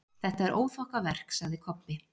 Þetta er óþokkaverk, sagði Kobbi.